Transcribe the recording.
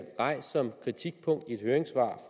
rejst som kritikpunkt i et høringssvar